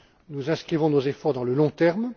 Nous inscrivons nos efforts dans le long